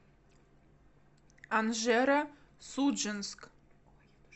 анжеро судженск